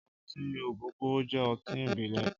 Ọtin ọ́gógóró jẹ̀ ọtin ibilẹ̀